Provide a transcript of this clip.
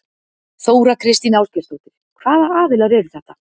Þóra Kristín Ásgeirsdóttir: Hvaða aðilar eru þetta?